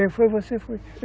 Ele, foi você foi?